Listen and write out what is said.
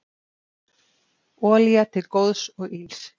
Olía til góðs og ills